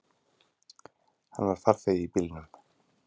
Hann var farþegi í bílnum.